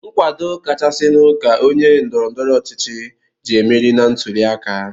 Nkwado kachasịnụ ka onye ndọrọndọrọ ọchịchị ji emeri na ntụliaka.